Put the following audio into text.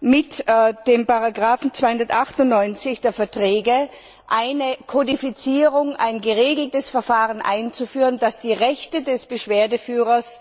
mit dem Artikel 298 der Verträge eine Kodifizierung, ein geregeltes Verfahren einzuführen, das die Rechte des Beschwerdeführers